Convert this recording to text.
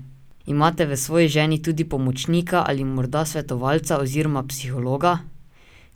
Imate v svoji ženi tudi pomočnika ali morda svetovalca oziroma psihologa?